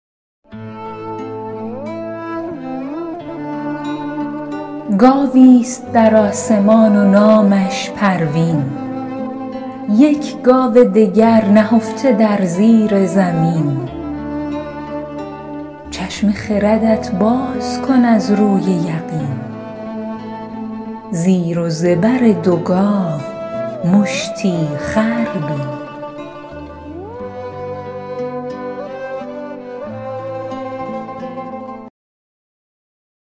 گاوی ست در آسمان و نامش پروین یک گاو دگر نهفته در زیر زمین چشم خردت باز کن از روی یقین زیر و زبر دو گاو مشتی خر بین